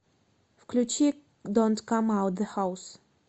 включи донт кам аут зе хаус